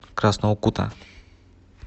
красного кута